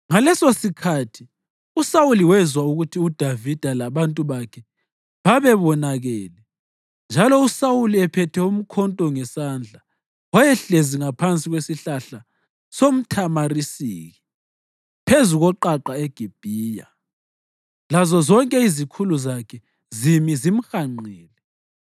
Ngalesosikhathi uSawuli wezwa ukuthi uDavida labantu bakhe babebonakele. Njalo uSawuli, ephethe umkhonto ngesandla, wayehlezi ngaphansi kwesihlahla somthamarisiki phezu koqaqa eGibhiya, lazozonke izikhulu zakhe zimi zimhanqile.